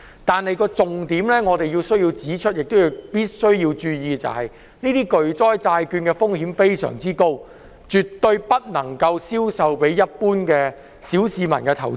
但是，我們需要指出重點讓市民知道，巨災債券的風險非常高，絕對不能銷售給一般投資者和小市民。